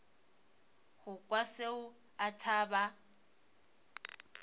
go kwa tšeo a thaba